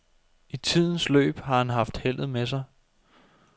I tidens løb har han haft heldet med sig.